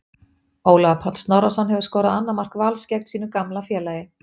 Ólafur Páll Snorrason hefur skorað annað mark Vals gegn sínu gamla félagi.